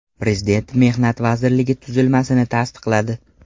Prezident Mehnat vazirligi tuzilmasini tasdiqladi.